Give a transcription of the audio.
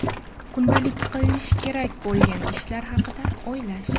Kundalik qilinishi kerak bo‘lgan ishlar haqida o‘ylash.